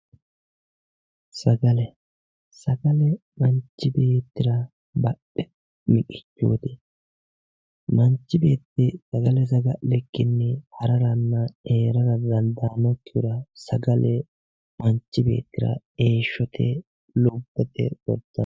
sagale sagale manchi beettira badhete miqichooti manchi beetti sagale saga'likkinni hararanna heerara didandaanno sagale manchi beettira lubbote yaate.